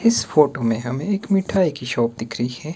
इस फोटो में हमें एक मिठाई की शॉप दिख रही है।